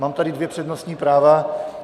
Mám tady dvě přednostní práva.